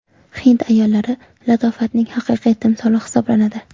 Hind ayollari – latofatning haqiqiy timsoli hisoblanadi.